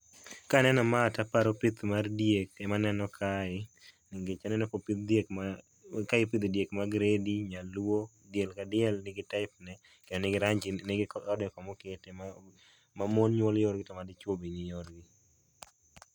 Kaneno ma taparo pith mar diek ema aneno kae nikech aneno ka opidh diek ma, kae ipidho diek mag gredi, nyaluo. Diel ka diel nigi type ne ,nigi rangi, nigi ode kama okete. Ma mon nyuol yorgi toma dichuo be ni yorgi